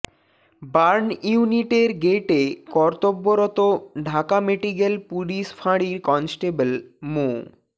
burn ইউনিটের গেইটে কর্তব্যরত ঢাকা মেডিকেল পুলিশ ফাঁড়ির কনস্টেবল মো